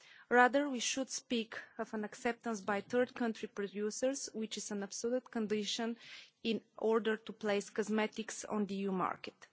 Rather, we should speak of an acceptance by third country producers, which is an absolute condition in order to place cosmetics on the EU market.